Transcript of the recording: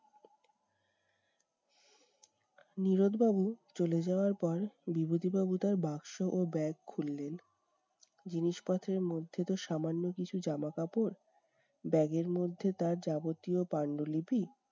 নীরদ বাবু চলে যাওয়ার পর বিভূতিবাবু তার বাক্স ও bag খুললেন। জিনিসপত্রের মধ্যে তো সামান্য কিছু জামা কাপড়, bag এর মধ্যে তার যাবতীয় পাণ্ডুলিপি,